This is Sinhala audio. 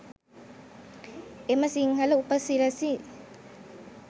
එම සිංහල උපසිරැසි